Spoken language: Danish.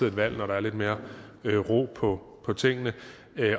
et valg når der er lidt mere ro på tingene